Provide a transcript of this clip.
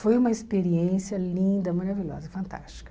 Foi uma experiência linda, maravilhosa, fantástica.